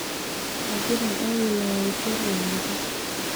egira Awino aoshu oloikempe